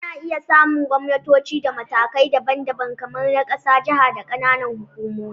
Ana iya samun gwamnatoci a matakai daban-daban, kamar na ƙasa, jaha, da ƙananan hukumomi